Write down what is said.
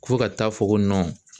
Fo ka taa fɔ ko